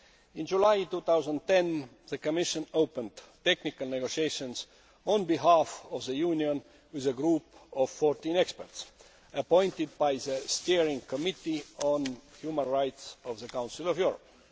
In July 2010 the Commission opened technical negotiations on behalf of the Union with a group of fourteen experts appointed by the Steering Committee for Human Rights of the Council of Europe.